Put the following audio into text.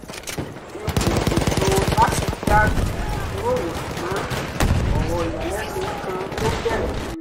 n kò ṣètò láti darí ìjíròrò ṣùgbọ́n ọ̀rọ̀ ìyàlẹ́nu kan ló bèrè fún un